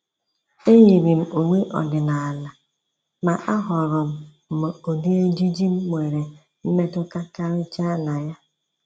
E yiiri m uwe ọdịnala, ma ahọọrọ m m ụdị ejiji m nwere mmetụta karịchaa na ya.